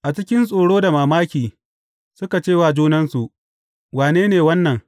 A cikin tsoro da mamaki, suka ce wa junansu, Wane ne wannan?